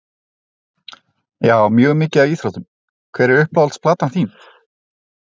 Já mjög mikið af íþróttum Hver er uppáhalds platan þín?